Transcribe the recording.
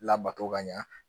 Labato ka ɲa